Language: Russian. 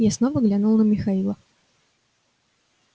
я снова глянул на михаила